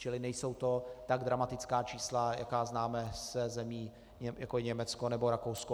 Čili nejsou to tak dramatická čísla, jaká známe ze zemí, jako je Německo nebo Rakousko.